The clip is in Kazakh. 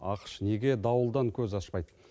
ақш неге дауылдан көз ашпайды